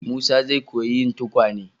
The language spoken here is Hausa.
Musa zai koyi yin tukwane.